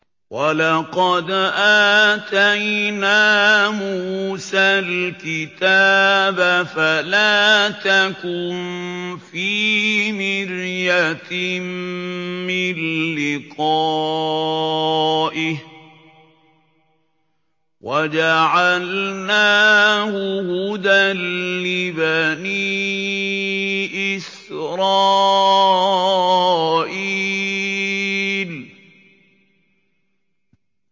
وَلَقَدْ آتَيْنَا مُوسَى الْكِتَابَ فَلَا تَكُن فِي مِرْيَةٍ مِّن لِّقَائِهِ ۖ وَجَعَلْنَاهُ هُدًى لِّبَنِي إِسْرَائِيلَ